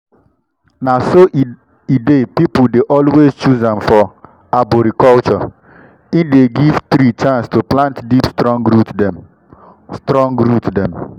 na so e dey people dey always choose am for arboriculture e dey give tree chance to plant deep strong root dem. strong root dem.